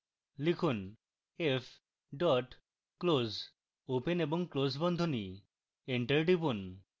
লিখুন f dot close open এবং close বন্ধনী